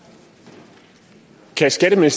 tal ser jeg